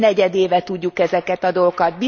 Több mint negyedéve tudjuk ezeket a dolgokat.